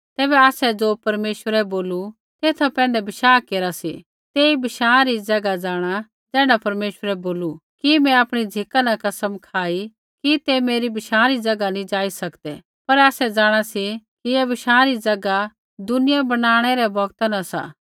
तैबै आसै ज़ो परमेश्वरै बोलू तेथा पैंधै बशाह केरा सी तेई बशाँ री ज़ैगा जाँणा ज़ैण्ढा परमेश्वरै बोलू कि मैं आपणी झ़िका न कसम खाई कि तै मेरै बशाँ री ज़ैगा नैंई जाई सकदै पर आसै जाँणा सी कि ऐ बशाँ री ज़ैगा दुनिया बनाणै रै बौगता न सा